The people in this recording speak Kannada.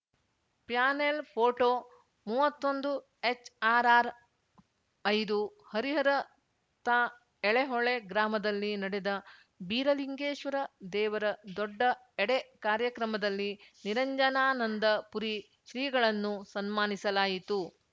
ಪ್ಯಾನೆಲ್‌ ಫೋಟೋ ಮೂವತ್ತೊಂದು ಎಚ್‌ಆರ್‌ಆರ್‌ಐದು ಹರಿಹರ ತಾ ಎಳೆಹೊಳೆ ಗ್ರಾಮದಲ್ಲಿ ನಡೆದ ಬೀರಲಿಂಗೇಶ್ವರ ದೇವರ ದೊಡ್ಡ ಎಡೆ ಕಾರ್ಯಕ್ರಮದಲ್ಲಿ ನಿರಂಜನಾನಂದ ಪುರಿ ಶ್ರೀಗಳನ್ನು ಸನ್ಮಾನಿಸಲಾಯಿತು